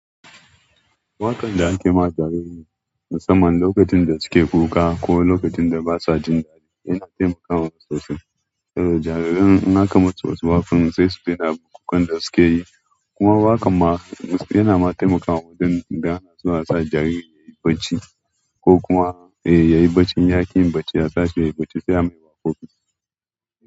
Waƙan da ake ma jarirai musamman lokacin da suke kuka ko lokacin da basa jin daɗi yana taimakawa sosai. Eh jarirai in aka masu wasu waƙan sai sai su daina kukan da suke yi. Kuma waƙan ma. Yanama taimakawa suna sa jariri yayi bacci ko kuma yayi bacci in ya ki yin bacci sai a sashi yayi bacci sai a.